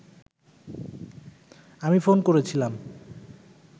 আমি ফোন করেছিলাম